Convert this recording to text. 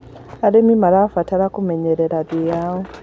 Arĩmĩ marabatara kũmenyerera thĩĩ yao